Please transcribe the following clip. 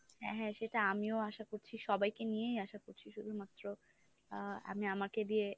হ্যাঁ সেটা আমিও আশা করছি সবাইকে নিয়েই আশা করছি শুধুমাত্র আ আমি আমাকে দিয়ে,